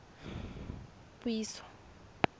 puiso